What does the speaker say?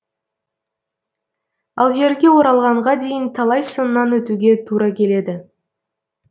ал жерге оралғанға дейін талай сыннан өтуге тура келеді